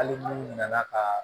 Hali n'u nana ka